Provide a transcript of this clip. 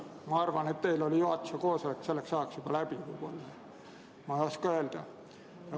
Ma arvan, et teil oli juhatuse koosolek selleks ajaks juba läbi – ma ei oska öelda.